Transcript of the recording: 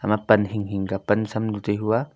ema pan hing hing ka pan sam nu tai hua.